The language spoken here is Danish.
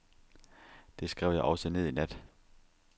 Det skrev jeg også ned i nat.